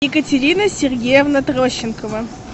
екатерина сергеевна трощенкова